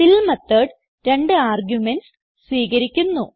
ഫിൽ method രണ്ട് arguments സ്വീകരിക്കുന്നു